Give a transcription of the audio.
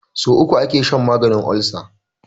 So uku ake shan maganin olsa